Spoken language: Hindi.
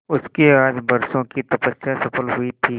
उसकी आज बरसों की तपस्या सफल हुई थी